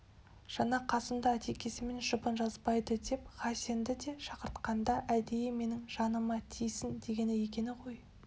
жаңа қасымды атекесімен жұбын жазбайдыдеп хасенді де шақыртқанда әдейі менің жаныма тисін дегені екен ғой